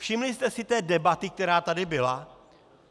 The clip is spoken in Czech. Všimli jste si té debaty, která tady byla?